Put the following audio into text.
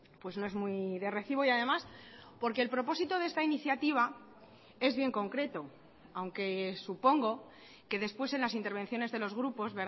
pues no es muy de recibo y además porque el propósito de esta iniciativa es bien concreto aunque supongo que después en las intervenciones de los grupos